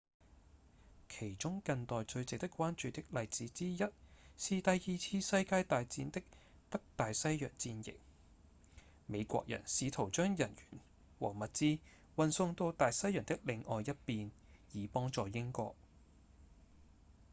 其中近代最值得關注的例子之一是第二次世界大戰的北大西洋戰役美國人試圖將人員和物資運送到大西洋的另外一邊以幫助英國